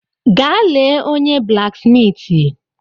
Gaa lee onye blaksmiiti.